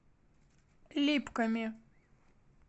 липками